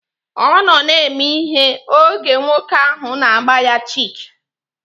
Ọ nọ na-eme ihere oge nwoke ahụ na-agba ya chik